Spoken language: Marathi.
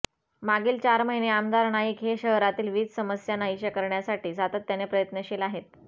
मागील चार महिने आमदार नाईक हे शहरातील वीज समस्या नाहिशा करण्यासाठी सातत्याने प्रयत्नशील आहेत